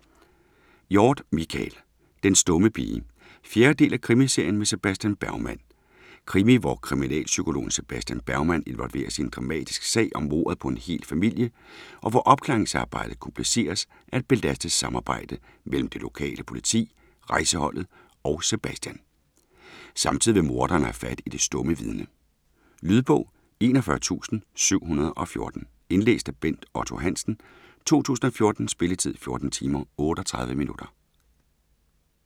Hjorth, Michael: Den stumme pige 4. del af krimiserien med Sebastian Bergman. Krimi, hvor kriminalpsykologen Sebastian Bergman involveres i en dramatisk sag om mordet på en hel familie, og hvor opklaringsarbejdet kompliceres af et belastet samarbejde mellem det lokale politi, rejseholdet og Sebastian. Samtidig vil morderen have fat i det stumme vidne. Lydbog 41714 Indlæst af Bent Otto Hansen, 2014. Spilletid: 14 timer, 38 minutter.